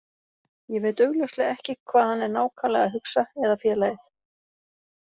Ég veit augljóslega ekki hvað hann er nákvæmlega að hugsa eða félagið.